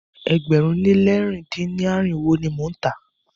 Ẹgbẹ̀rún lé lẹ̀rin dín ní irinwó ni mo ń tà á.